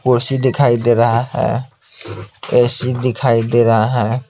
कुर्सी दिखाई दे रहा है ऐसी दिखाई दे रहा है।